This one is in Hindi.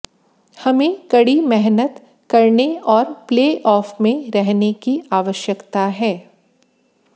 हमें कड़ी मेहनत करने और प्लेऑफ में रहने की आवश्यकता है